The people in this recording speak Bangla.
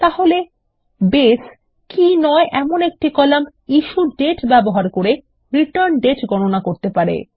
তাহলে বেস কী নয় এমন একটি কলাম ইস্যুডেট ব্যবহার করে রিটার্ন দাতে গণনা করতে পারে